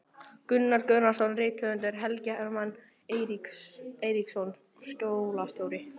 Gunnar Gunnarsson rithöfundur, Helgi Hermann Eiríksson skólastjóri